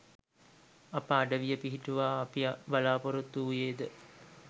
අප අඩවිය පිහිටුවා අපි බලාපොරොත්තු වූයේද